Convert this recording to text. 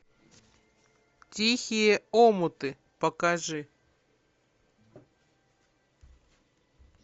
тихие омуты покажи